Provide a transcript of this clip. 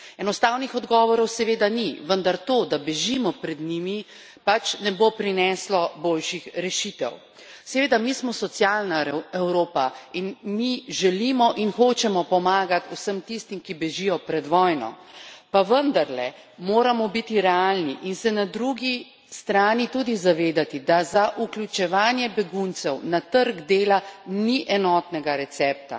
Enostavnih odgovorov seveda ni, vendar to, da bežimo pred njimi, pač ne bo prineslo boljših rešitev. Seveda, mi smo socialna Evropa in mi želimo in hočemo pomagat vsem tistim, ki bežijo pred vojno, pa vendarle moramo biti realni in se na drugi strani tudi zavedati, da za vključevanje beguncev na trg dela ni enotnega recepta.